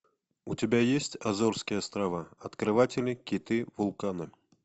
у тебя есть азорские острова открыватели киты вулканы